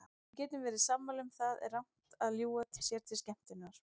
Við getum verið sammála um að það er rangt að ljúga sér til skemmtunar.